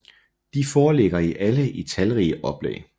De foreligger alle i talrige oplag